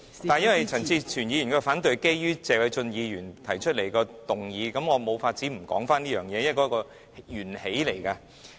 由於陳志全議員的反對議案是建基於謝偉俊議員提出的議案，所以我無法不提及此事，因為這是起源。